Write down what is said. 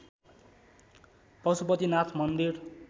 पशुपति नाथ मन्दिर